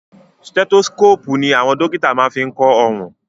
Stethoscopu ní àwọn dókítà máa ń fí kọ ọrùn.